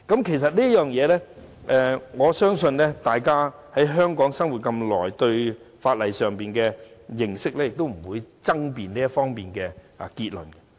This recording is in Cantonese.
其實，我相信大家在香港生活了那麼久，以大家對法例的認識，理應不會就這方面的結論作出爭辯。